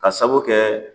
Ka sabu kɛ